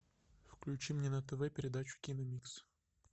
включи мне на тв передачу киномикс